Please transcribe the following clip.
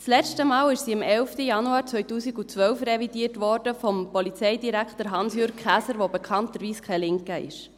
– Das letzte Mal wurde sie am 11. Januar 2012 von Polizeidirektor Hans-Jürg Käser revidiert, der bekanntlich kein Linker ist.